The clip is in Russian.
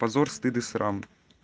позор стыд и срам